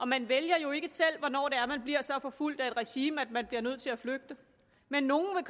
man vælger jo ikke selv hvornår man bliver så forfulgt af et regime at man bliver nødt til at flygte men nogle